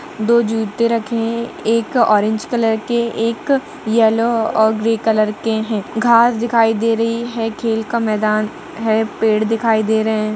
दो जूते रखे हैं एक ऑरेंज कलर के एक येल्लो ओर ग्रे कलर के हैं घास दिखाई दे रही हैं खेल का मैदान हैं पेड़ दिखाई दे रहे हैं।